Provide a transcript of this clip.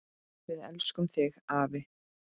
Við elskum þig, afi.